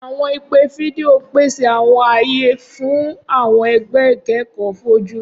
Awọn ipe fidio n pese awọn aye fun awọn ẹgbẹ ikẹkọ foju.